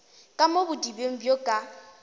ka mo bodibeng bjo ka